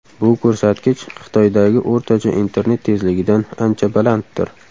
Bu ko‘rsatkich Xitoydagi o‘rtacha internet tezligidan ancha balanddir.